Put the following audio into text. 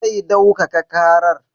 Zai daukaka karar.